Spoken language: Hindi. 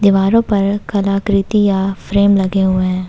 दीवारों पर कला कृतियां फ्रेम लगे हुए हैं।